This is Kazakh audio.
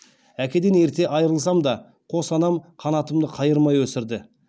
әкеден ерте айырылсам да қос анам қанатымды қайырмай өсірді